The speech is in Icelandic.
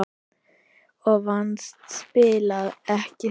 Og vannst spilið, ekki satt?